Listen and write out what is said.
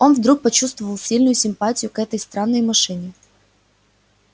он вдруг почувствовал сильную симпатию к этой странной машине